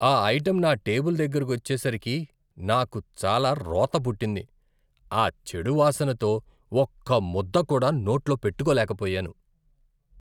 ఆ ఐటెం నా టేబుల్ దగ్గరకొచ్చేసరికే, నాకు చాలా రోతపుట్టింది. ఆ చెడు వాసనతో ఒక్క ముద్ద కూడా నోట్లో పెట్టుకోలేకపోయాను.